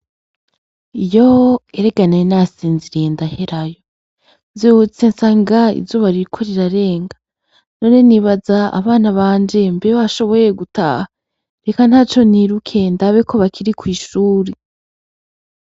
Yoo! erega nari nasinziriye ndaherayo nvyutse nsanga izuba ririko rirarenga, none nibaza abanbanje mbe bashoboye gutaha? Reka ntaco niruke ndabe ko bakiri kw'ishuri.